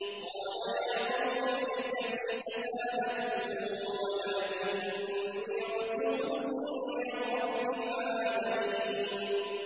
قَالَ يَا قَوْمِ لَيْسَ بِي سَفَاهَةٌ وَلَٰكِنِّي رَسُولٌ مِّن رَّبِّ الْعَالَمِينَ